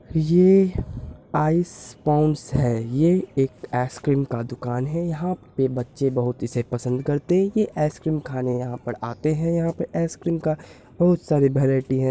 ये ice ponds है ये एक आइस क्रीम का दूकान है। यहाँ पे बच्चे बहुत इसे पसंद करते है ये आइस क्रीम खाने यहाँ पर आते है यहाँ पे आइस क्रीम का बहुत सारे वैरायटी है।